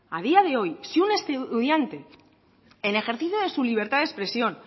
a día de hoy si un estudiante en ejercicio de su libertad de expresión